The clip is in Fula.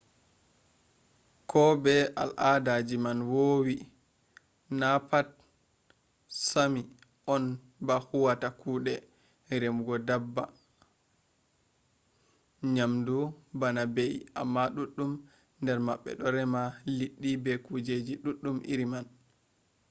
ko be no alada man woowi na pat sami on ba huwata kuɗe remugo daabba nyamdu bana be’i amma ɗuɗɗum nder maɓɓe ɗo rema liɗɗi be kujeji ɗuɗɗum iri man